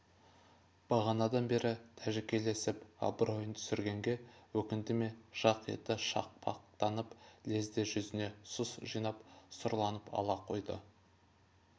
бағанадан бері тәжікелесіп абройын түсіргенге өкінді ме жақ еті шақпақтанып лезде жүзіне сұс жинап сұрланып ала қойды